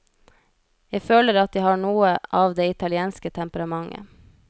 Jeg føler at jeg har noe av det italienske temperamentet.